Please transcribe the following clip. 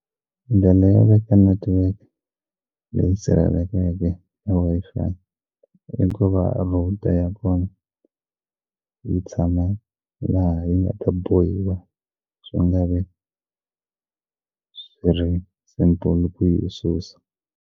Ndlela yo veka network leyi sirhelelekeke i Wi-Fi hikuva router ya kona yi tshama laha yi nga ta bohiwa swi nga vi swi ri simple ku yi susa.